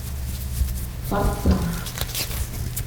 фарца